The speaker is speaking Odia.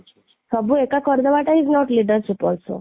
ସବୁ ଏକା କରିଦେବାଟା ହିଁ is not leadership also